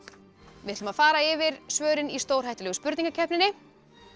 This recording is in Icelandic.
við ætlum að fara yfir svörin í stórhættulegu spurningakeppninni